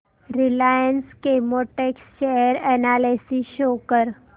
Reliance Chemotex share analysis show कर